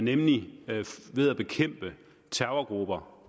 nemlig ved at bekæmpe terrorgrupper